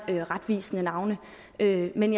retvisende navne men men